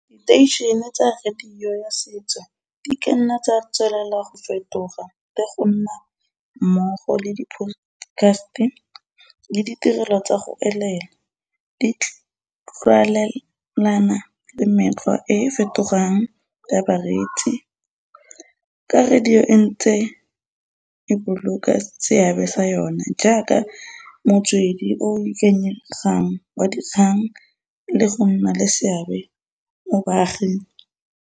Diteišhene tsa radio ya setso di kanna tsa tswelela go fetoga le gonna mmogo le di-podcast le ditirelo tsa go elela di tlwaelana le e e fetogang ka bareetsi, ka radio e ntse e boloka seabe sa yona jaaka motswedi o o ikanyegang wa dikgang le go nna le seabe mo baaging.